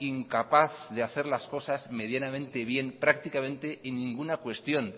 incapaz de hacer las cosas medianamente bien prácticamente en ninguna cuestión